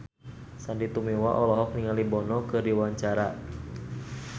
Sandy Tumiwa olohok ningali Bono keur diwawancara